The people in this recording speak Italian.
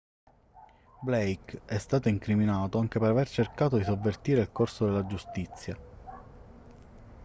blake è stato incriminato anche per aver cercato di sovvertire il corso della giustizia